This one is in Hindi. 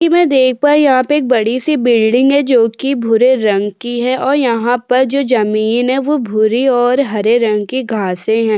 की मैं देख पाई यहाँ पे एक बड़ी-सी बिल्डिंग है जोकि भूरे रंग की है और यहाँ पर जो जमीन है वो भूरी और हरे रंग की घांसे हैं।